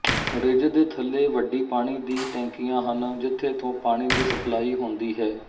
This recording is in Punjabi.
ਰਿੱਜ ਦੇ ਥੱਲੇ ਵੱਡੇ ਪਾਣੀ ਡੀ ਟੈਂਕਿਆਂ ਹਨ ਜਿਥੇ ਤੋਂ ਪਾਣੀ ਦੀ ਸਪਲਾਈ ਹੋਂਦੀ ਹੈ